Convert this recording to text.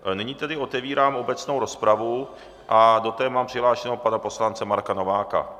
Nyní tedy otevírám obecnou rozpravu a do té mám přihlášeného pana poslance Marka Nováka.